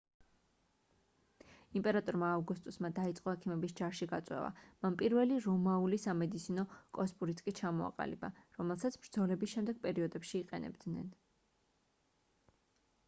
იმპერატორმა ავგუსტუსმა დაიწყო ექიმების ჯარში გაწვევა მან პირველი რომაული სამედიცინო კოსპურიც კი ჩამოაყალიბა რომელსაც ბრძოლების შემდეგ პერიოდებში იყენებდნენ